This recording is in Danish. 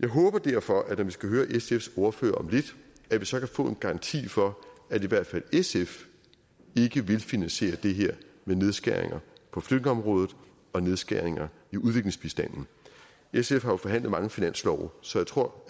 jeg håber derfor at vi skal høre sfs ordfører om lidt så kan få en garanti for at i hvert fald sf ikke vil finansiere det her med nedskæringer på flygtningeområdet og nedskæringer i udviklingsbistanden sf har jo forhandlet mange finanslove så jeg tror